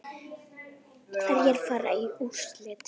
Hverjir fara í úrslit?